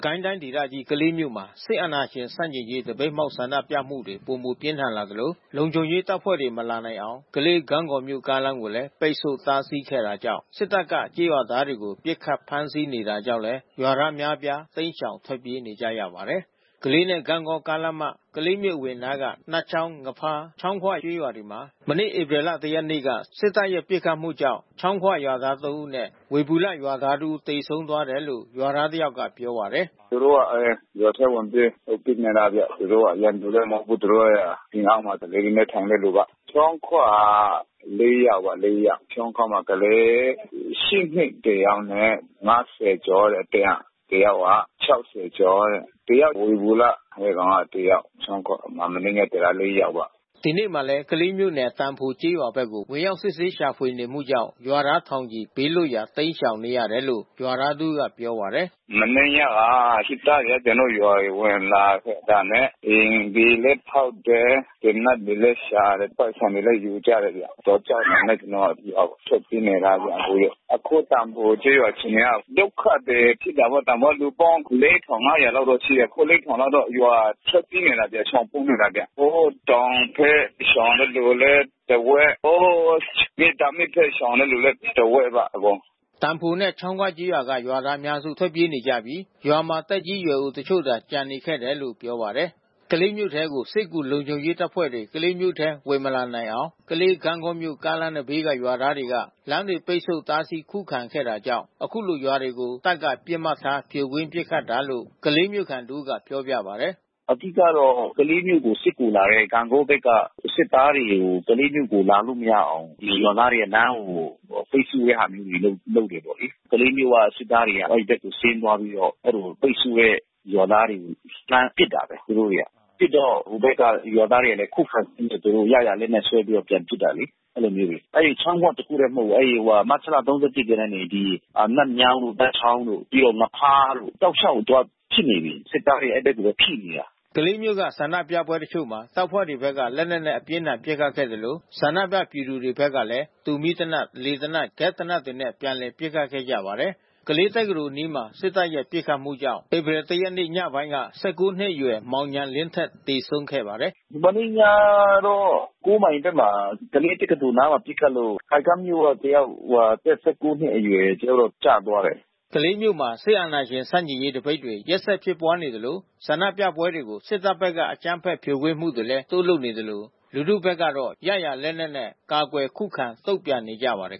ကိုင်းတိုင်းဒေသကြီး ကလေးမြို့မှာ စစ်အာဏာရှင်ဆန့်ကျင်ရေး သပိတ်မှောက် ဆန္ဒပြမှုတွေ ပိုမိုပြင်းထန်လာသလို လုံခြုံရေးတပ်ဖွဲ့တွေ မလာနိုင်အောင် ကလေး-ဂန့်ဂေါမြို့ကားလမ်းကိုလည်း ပိတ်ဆို့ တားဆီးခဲ့တာကြောင့် စစ်တပ်က ကျေးရွာသားတွေကို ပစ်ခတ်၊ ဖမ်းဆီးနေတာကြောင့် ရွာသား အများအပြား တိမ်းရှောင်ထွက်ပြေးနေကြရပါတယ်။ ကလေးနဲ့ ဂန့်ဂေါကားလမ်းမ ကလေးမြို့အဝင်နားက နတ်ချောင်း၊ ငဖားနဲ့ ချောင်းခွကျေးရွာမှာ မနေ့ ဧပြီလ ၁ ရက်နေ့က စစ်တပ်ရဲ့ ပစ်ခတ်မှုကြောင့် ချောင်းခွရွာသား ၃ ဦးနဲ့ ဝေဘူလရွာသားတဦး သေဆုံးသွားတယ်လို့ ရွာသားတယောက်က ပြောပါတယ်။ “သူတို့က ရွာထဲဝင်ပြီးပစ်နေတာဗျ။ သူတို့ရန်သူလည်းမဟုတ်ဘူး။ သူတို့ကအိမ်အောက်မှာ အေးအေးထိုင်တဲ့သူပါ။ ချောင်းခွမှာ ၄ ယောက်။ ချောင်းခွမှာကလေး- ၈ နှစ်တယောက်နဲ့ ၅၀ ကျော်တဲ့ တယောက်။ တယောက်က ၆၀ ကျော်တဲ့။ တယောက်က ဝေဘူလ။ အဲဒီကောင်က တယောက်။ ချောင်းခွ မနေ့က သေတာ ၄ ယောက်ပေါ့။” ဒီနေ့မှာလည်း ကလေးမြို့နယ် သံဖိုကျေးရွာဘက်ကို ဝင်ရောက်စစ်ဆေးရှာဖွေနေမှုကြောင့် ရွာသား ထောင်ချီဘေးလွတ်ရာ တိမ်းရှောင်နေရတယ်လို့ ရွာသားတဦးကပြောပါတယ်။ “မနေ့ညက စစ်တပ်တွေက ကျနော်တို့ရွာကိုဝင်လာတာနဲ့ အိမ်တွေလည်း ဖောက်တယ်။ သေနတ်တွေလည်း ရှာတယ်။ ပိုက်ဆံတွေလည်း ယူကြတယ်ဗျ။ ကြောက်တာနဲ့ ကျနော်တို့ရွာကို ထွက်ပြေးနေတာဗျ အခု။ အခုသံဖိုကျေးရွာအခြေအနေက ဒုက္ခသည်ဖြစ်တာပေါ့။ သံဖိုက လူပေါင်း ၄,၅၀၀ ကျော်လောက်ရှိတယ်။ အခု ၄,၀၀၀ လောက်တော့ ရွာကနေထွက်ပြေးနေတာဗျ။ ရှောင်ပုန်းနေတာဗျ။ ဟိုတောင်ထဲရှောင်တဲ့သူကလည်း တဝက်။ ဟို မေတ္တာမြစ်ထဲရှောင်တဲ့လူလည်း ပါ အကုန်။” သံဖိုနဲ့ ချောင်းခွရွာတွေက ရွာသားအများစု ထွက်ပြေးနေကြပြီး ရွာမှာသက်ကြီးရွယ်အိုတချို့သာ ကျန်နေခဲ့တယ်လို့ ပြောပါတယ်။ ကလေးမြို့ထဲကို စစ်ကူလုံခြုံရေးတပ်ဖွဲ့တွေ ဝင်မလာနိုင်အောင် ကလေး-ဂန့်ဂေါမြို့ကားလမ်းဘေးက ရွာသားတွေက လမ်းတွေ ပိတ်ဆို့တားဆီး ခုခံခဲ့တာကြောင့် ခုလို ရွာတွေကို တပ်က ပစ်မှတ်ထား ဖြိုခွင်းပစ်ခတ်တာလို့ကလေးမြို့ခံတဦးက ပြောပြပါတယ်။ “အဓိကတော့ ကလေးမြို့ကိုစစ်ကူလာတဲ့ ဂန့်ဂေါဘက်က စစ်သားတွေကို ကလေးမြို့ထဲလာလို့ မရအောင် ရွာသားတွေက လမ်းကိုပိတ်ဆို့တဲ့ ဟာမျိုးတွေ လုပ်တယ်ပေါ့လေ။ ကလေးမြို့က စစ်သားတွေ အဲဒီဘက်ကိုဆင်းသွားပြီးတော့ အဲဒီလိုပိတ်ဆို့တဲ့ရွာသားတွေကို လှမ်းပစ်တာပဲ။ သူတို့တတွေက။ ပစ်တော့ ဟိုဖက်ကရွာသားတွေကလည်း ခုခံစံနစ်၊ သူတို့ရရာလက်နက်နဲ့ ဆွဲပြီးပြန်ပစ်တာလေ။ အဲဒီချောင်းခွတခုတည်း မဟုတ်ဘူး။ အဲဒီမတ်လ ၃၁ ကတည်းက နတ်မြောင်းတို့၊ ပန်းချောင်းတို့ ပြီးတော့ငဖားတို့ တောက်လျှောက်သူကဖြစ်နေပြီ။ စစ်သားတွေကအဲဒီဘက်ကိုဖိနေတာ။” ကလေးမြို့က ဆန္ဒပြပွဲတချို့မှာ တပ်ဖွဲ့တွေဘက်က လက်နက်နဲ့ အပြင်းအထန်ပစ်ခတ်ခဲ့သလို ဆန္ဒပြပြည်သူတွေဘက်ကလည်း တူမီးသေနတ်၊ လေသေနတ်၊ ဂက်စ်သေနတ်တွေနဲ့ ပြန်လည် ပစ်ခတ်ခဲ့ကြပါတယ်။ ကလေးတက္ကသိုလ်အနီးမှာ စစ်တပ်ရဲ့ပစ်ခတ်မှုကြောင့် ဧပြီ ၁ ရက် ညပိုင်းက ၁၉ နှစ်အရွယ် မောင်ဉာဏ်လင်းထက် သေဆုံးခဲ့ပါတယ်။ “မနေ့ညတော့ ၉ မိုင်ဘက်မှာ ကလေးတက္ကသိုလ်နားမှာ ပစ်ခတ်လို့ ခိုင်ကမ်းမြို့ကတယောက် အသက် ၁၉ နှစ်အရွယ် တယောက်တော့ကျသွားတယ်။” ကလေးမြို့မှာ စစ်အာဏာရှင်ဆန့်ကျင်ရေးသပိတ်တွေ ရက်ဆက်ဖြစ်ပွါးနေသလို ဆန္ဒပြပွဲတွေကို စစ်တပ်ဘက်က အကြမ်းဖက် ဖြိုခွင်းမှုတွေ တိုးလုပ်နေပြီး လူထုဘက်ကလည်း ရရာ လက်နက်နဲ့ ကာကွယ် ခုခံ တုံ့ပြန်နေကြပါတယ်